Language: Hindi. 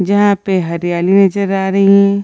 जहाँ पे हरियाली नज़र आ रही हैं।